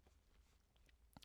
DR1